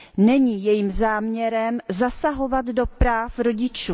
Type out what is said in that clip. Není jejím záměrem zasahovat do práv rodičů.